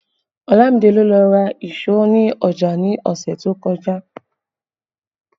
Olamide ló lọ ra èso ní ọjà ní ọ̀sẹ̀ tó kọjá